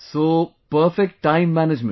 So perfect time management